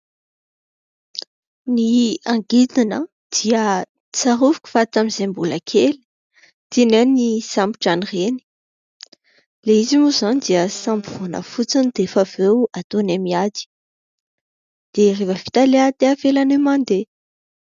Ny angidina dia tsaroviko fa tamin'izay mbola kely tianay ny misambotran'ireny. Ilay izy moa izany dia samborina fotsiny dia efa avy eo ataonay miady dia rehefa vita ilay ady dia avelanay mandeha.